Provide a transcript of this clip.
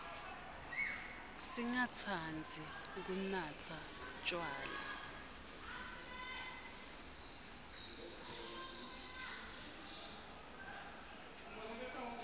singatsandzi kunatsa tjwala